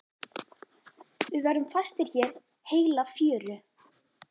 Við verðum fastir hér heila fjöru.